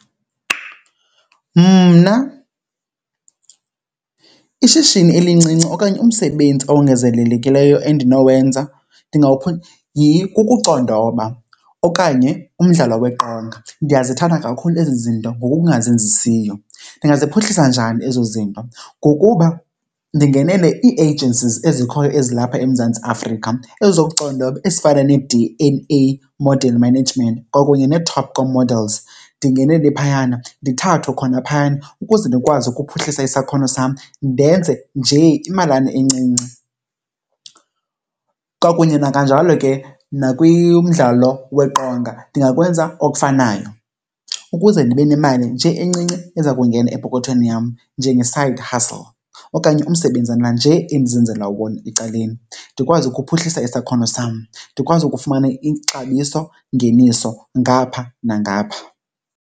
Mna ishishini elincinci okanye umsebenzi owongezelelekileyo endinowenza kukucondoba okanye umdlalo weqonga. Ndiyazithanda kakhulu ezi zinto ngokungazenzisiyo. Ndingaziphuhlisa njani ezo zinto? Ngokuba ndingenele ii-agencies ezikhoyo ezilapha eMzantsi Afrika ezokucondoba, ezifana nee-D and A Model Management kwakunye neeTopco Models. Ndingenele phayana, ndithathwe khona phayana ukuze ndikwazi ukuphuhlisa isakhono sam ndenze nje imalana encinci. Kwakunye nakanjalo ke nakwimdlalo weqonga ndingakwenza okufanayo ukuze ndibe nemali nje encinci eza kungena epokothweni yam njenge-side hustle okanye umsebenzana nje endizenzela wona ecaleni. Ndikwazi ukuphuhlisa isakhono sam, ndikwazi ukufumana ixabisongeniso ngapha nangapha.